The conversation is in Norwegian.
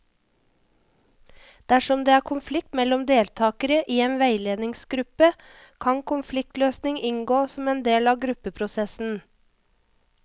Dersom det er konflikt mellom deltakere i en veiledningsgruppe, kan konfliktløsning inngå som en del av gruppeprosessen.